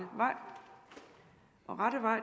og rette vej